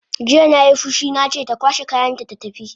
Jiya nai fushi nace ta kwashe kayanta ta tafi!